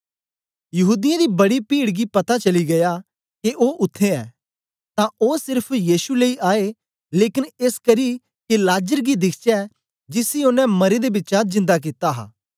यहूदियों दी बड़ी भीड़ गी पता चली गीया के ओ उत्थें ऐ तां ओन सेरफ यीशु लेई आए लेकन एसकरी के लाजर गी दिखचै जिसी ओनें मरें दा बिचा जिन्दा कित्ता हा